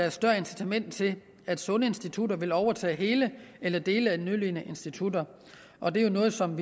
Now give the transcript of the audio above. et større incitament til at sunde institutter vil overtage hele eller dele af nødlidende institutter og det er jo noget som